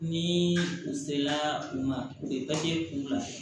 Ni u sela u ma u ye k'u bila